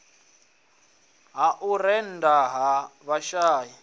ha u rennda ha vhashai